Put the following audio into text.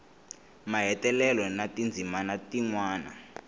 mahetelelo na tindzimana tin wana